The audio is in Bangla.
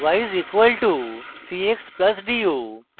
y is equal to c x plus d u